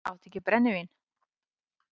Áttu ekki brennivín?